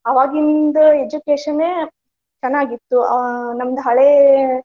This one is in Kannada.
ಅವಾಗಿಂದ education ಎ ಚನ್ನಾಗಿ ಇತ್ತು ಹ್ಮ್ ನಮ್ದ ಹಳೆ.